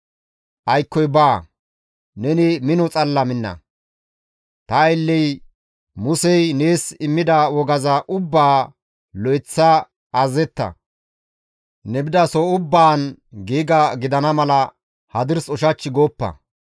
Aykkoy baa; neni mino xalla minna; ta aylle Musey nees immida wogaza ubbaa lo7eththa azazetta; ne bidaso ubbaan giiga gidana mala hadirs ushach gooppa.